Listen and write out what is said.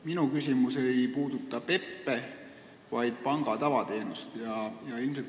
Minu küsimus ei puuduta PEP-e, vaid panga tavateenuseid.